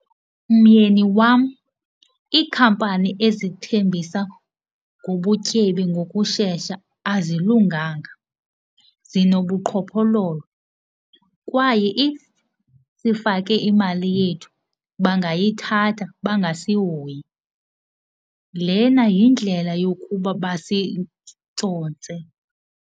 Myeni wam, iikhampani ezithembisa ngobutyebi ngokushesha azilunganga, zinobuqhophololo kwaye if sifake imali yethu bangayithatha bangasihoyi. Lena yindlela yokuba tsotse.